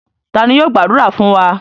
Ta ni yóò gbàdúrà fún wa?